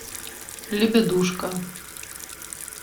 лебедушка